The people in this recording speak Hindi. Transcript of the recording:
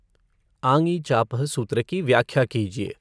आङि चापः सूत्र की व्याख्या कीजिए।